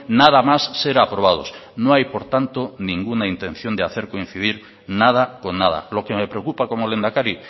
nada más ser aprobados no hay por tanto ninguna intención de hacer coincidir nada con nada lo que me preocupa como lehendakari